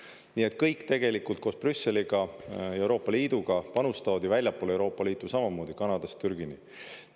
Nii et kõik tegelikult koos Brüsseliga, Euroopa Liiduga panustavad väljapoole Euroopa Liitu samamoodi, Kanadast Türgini.